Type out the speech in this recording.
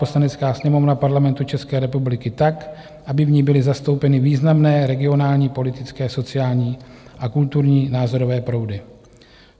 Poslanecká sněmovna Parlamentu České republiky tak, aby v ní byly zastoupeny významné regionální, politické, sociální a kulturní názorové proudy.